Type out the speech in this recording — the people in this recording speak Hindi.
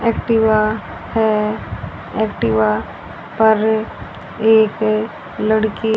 एक्टिवा है एक्टिवा पर एक लड़की--